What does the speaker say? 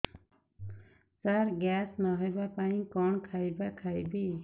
ସାର gas ନ ହେବା ପାଇଁ କଣ ଖାଇବା ଖାଇବି